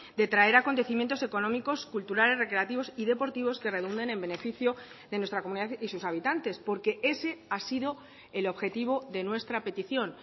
de traer acontecimientos económicos culturales recreativos y deportivos que redunden en beneficio de nuestra comunidad y sus habitantes porque ese ha sido el objetivo de nuestra petición